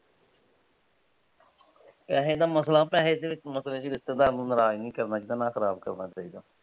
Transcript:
ਪੈਸੇ ਦਾ ਮਸਲਾ ਪੈਸੇ ਦੇ ਮਸਲੇ ਵਿੱਚ ਰਿਸ਼ਤੇਦਾਰ ਨੂੰ ਨਰਾਜ ਨਹੀਂ ਕਰਨਾ ਚਾਹੁਣਾ ਨਾ ਖਰਾਬ ਕਰਨਾ ਚਾਹੀਦਾ।